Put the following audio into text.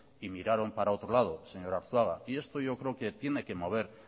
y miraron para otro lado señor arzuaga y esto yo creo que tiene que mover